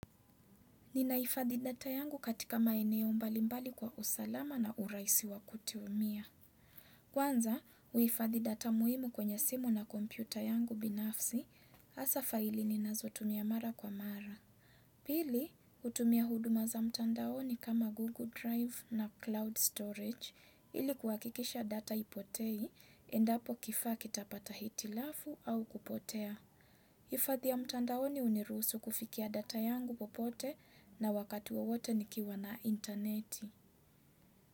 Ninahifadhi data yangu katika maeneo mbali mbali kwa usalama na urahisi wa kutiumia. Kwanza, huifadhi data muhimu kwenye simu na kompyuta yangu binafsi, hasaa faili ninazotumia mara kwa mara. Pili, hutumia huduma za mtandaoni kama Google Drive na Cloud Storage, ili kuhakikisha data ipotei, endapo kifaa kitapata hitilafu au kupotea. Hifadhi ya mtandaoni hunirusu kufikia data yangu popote na wakati wowote nikiwa na interneti.